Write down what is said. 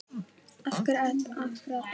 Af hverju að breyta?